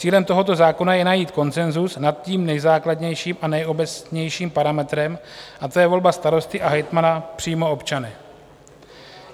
Cílem tohoto zákona je najít konsenzus nad tím nejzákladnějším a nejobecnějším parametrem a to je volba starosty a hejtmana přímo občany.